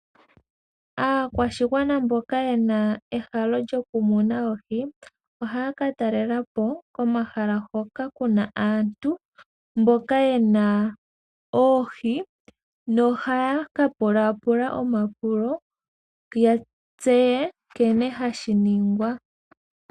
Aakwashigwana mboka yena ehalo lyokumona oohi ohaya ka talela po komahala hoka kuna aantu mboka yena oohi nohaya ka pulapula omapulo ya tseye nkene hashi ningwa.